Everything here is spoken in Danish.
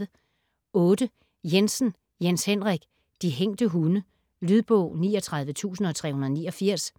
Jensen, Jens Henrik: De hængte hunde Lydbog 39389